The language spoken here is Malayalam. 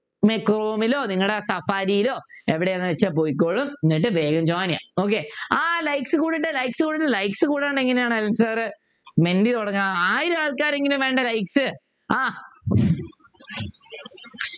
പിന്നെ ക്രോമിലോ നിങ്ങടെ സഫാരിയിലോ എവിടെയാണ് വെച്ചാ പൊയ്ക്കോളൂ എന്നിട്ട് വേഗം join ചെയ്യാ okay ആഹ് likes കൂടട്ടെ likes കൂടട്ടെ likes കൂടട്ടെ likes കൂടാണ്ട് എങ്ങനെയാണു അനിൽ sir മെൻറ്റി തുടങ്ങുക ആയിരം ആൾക്കാരെങ്കിലും വേണ്ടേ likes ആഹ്